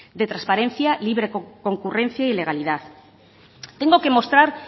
de transparencia libre concurrencia y legalidad tengo que mostrar